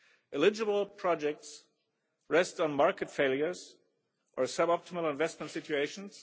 Eligible projects rest on market failures or sub optimal investment situations.